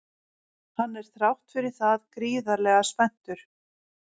Hann er þrátt fyrir það gríðarlega spenntur.